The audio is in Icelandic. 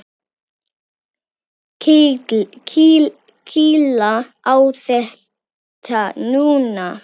Kýla á þetta núna!